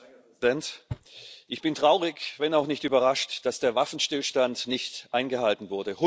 Herr Präsident! Ich bin traurig, wenn auch nicht überrascht, dass der Waffenstillstand nicht eingehalten wurde.